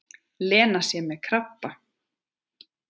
Lena sé með krabba.